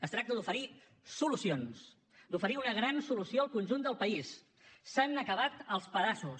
es tracta d’oferir solucions d’oferir una gran solució al conjunt del país s’han acabat els pedaços